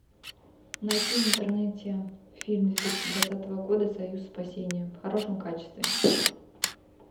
найти в интернете фильм две тысячи двадцатого года союз спасения в хорошем качестве